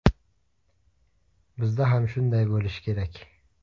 Bizda ham shunday bo‘lishi kerak.